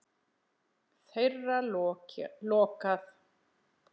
Þeirra lokað.